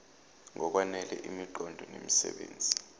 ngokwanele imiqondo nemisebenzi